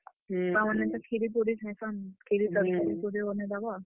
ଛୁଆମାନେ ତ, କ୍ଷୀରି ପୁରୀ ଖାଏସନ୍, କ୍ଷୀରି, ତରକାରୀ, ପୁରୀ ବନେଇଦେବ।